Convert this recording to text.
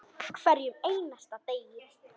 Hverjum einasta degi.